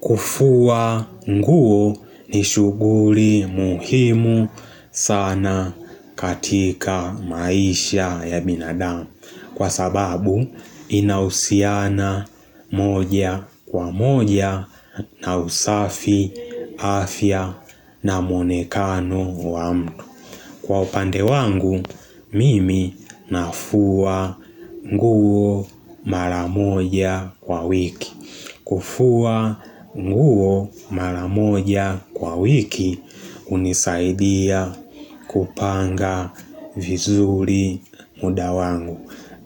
Kufua nguo ni shughuli muhimu sana katika maisha ya binadamu kwa sababu inahusiana moja kwa moja na usafi afya na mmonekano wa mtu. Kwa upande wangu, mimi nafua nguo maramoja kwa wiki. Kufua nguo maramoja kwa wiki, hunisaidia kupanga vizuri muda wangu.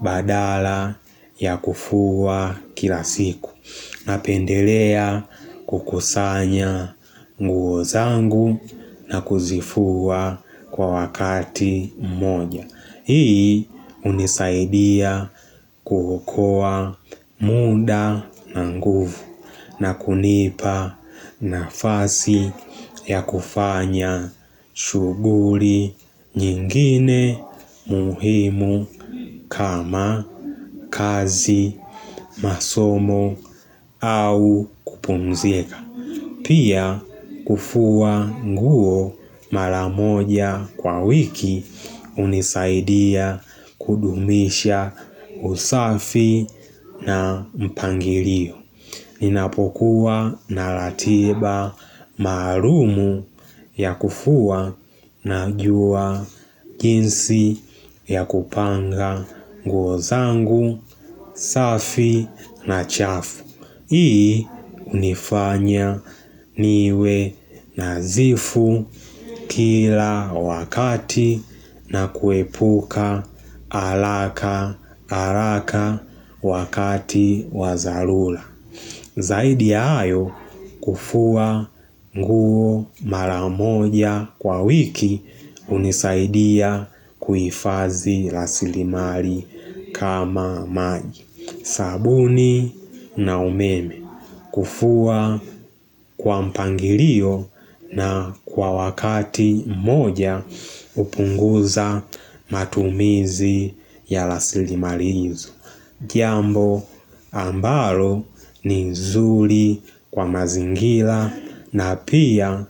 Badala ya kufuwa kila siku Napendelea kukusanya nguo zangu na kuzifua kwa wakati mmoja Hii hunisaidia kuokoa muda na nguvu na kunipa nafasi ya kufanya shughuli nyingine muhimu kama kazi masomo au kupumzika. Pia kufua nguo maramoja kwa wiki hunisaidia kudumisha usafi na mpangilio. Ninapokuwa na ratiba maalum ya kufua na jua jinsi ya kupanga nguo zangu, safi na chafu. Hii hunifanya niwe nadhifu kila wakati na kuepuka haraka haraka wakati wadharula. Zaidi ya hayo kufua nguo maramoja kwa wiki hunisaidia kuifadhi rasilimali kama maji. Sabuni na umeme kufua kwa mpangilio na kwa wakati moja hupunguza matumizi ya rasilimari hizo. Jambo ambalo ni zuri kwa mazingira na pia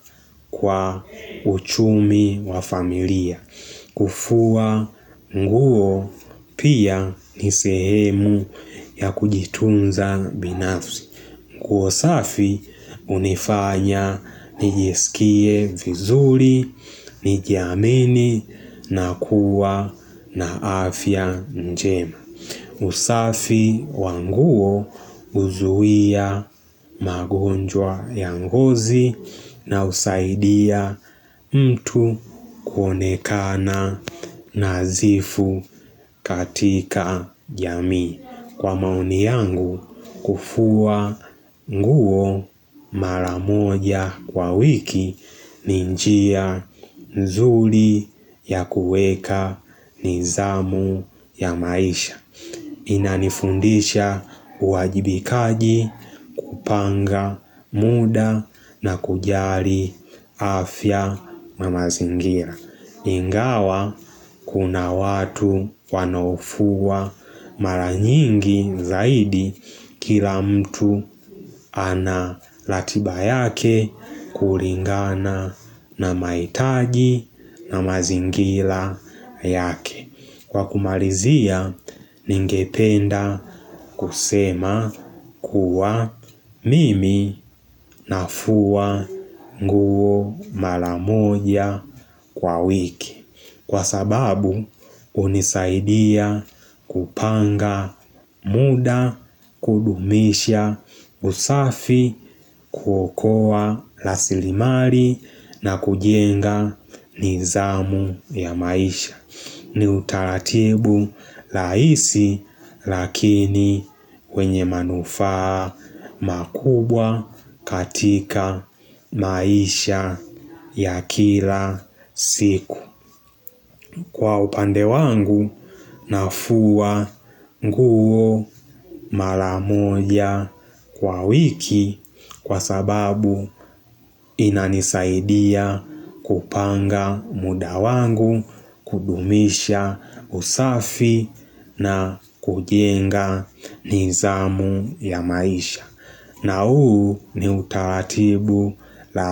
kwa uchumi wa familia kufua nguo pia ni sehemu ya kujitunza binafsi nguosafi hunifanya nijiskie vizuri, nijiamini na kuwa na afya njema usafi wanguo huzuia magonjwa yangozi na husaidia mtu kuonekana nadhifu katika jamii. Kwa maoni yangu, kufua nguo maramoja kwa wiki ninjia nzuri ya kuweka nizamu ya maisha. Inanifundisha uwajibikaji kupanga muda na kujali afya namazingira. Ingawa kuna watu wanofua maranyingi zaidi kila mtu ana ratiba yake kulingana na mahitaji na mazingira yake. Kwa kumalizia, ningependa kusema kuwa mimi nafuwa nguo maramoja kwa wiki. Kwa sababu, hunisaidia kupanga muda kudumisha usafi kuokoa rasilimali na kujenga nizamu ya maisha. Ni utaratibu rahisi lakini wenye manufaa makubwa katika maisha ya kila siku Kwa upande wangu nafua nguo maramoja kwa wiki kwa sababu inanisaidia kupanga muda wangu, kudumisha usafi na kujenga nidhamu ya maisha. Na huu ni utaratibu lai.